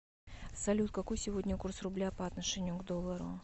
салют какой сегодня курс рубля по отношению к доллару